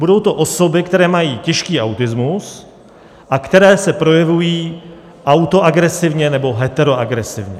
Budou to osoby, které mají těžký autismus a které se projevují autoagresivně nebo heteroagresivně.